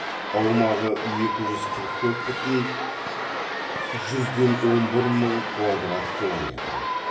аумағы екі жүз қырық төрт бүтін жүзден он бір мың квадрат километр